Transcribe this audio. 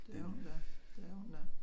Det er hun da det er hun da